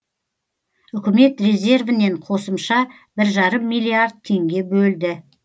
үкімет резервінен қосымша бір жарым миллиард теңге бөлді